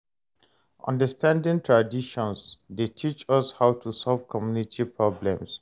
Understanding traditions dey teach us how to solve community problems.